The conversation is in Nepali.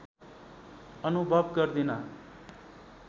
अनुभव गर्दिन